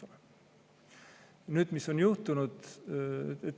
Nüüd, mis on juhtunud?